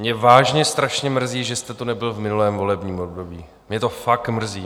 Mě vážně strašně mrzí, že jste tu nebyl v minulém volebním období, mě to fakt mrzí.